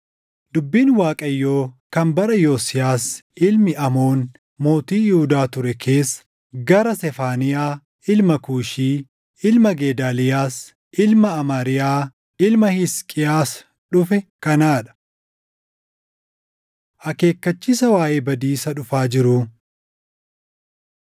Dubbiin Waaqayyoo kan bara Yosiyaas ilmi Aamoon mootii Yihuudaa ture keessa gara Sefaaniyaa ilma Kuushii, ilma Gedaaliyaas, ilma Amariyaa, ilma Hisqiyaas dhufe kanaa dha: Akeekkachiisa Waaʼee Badiisa Dhufaa Jiruu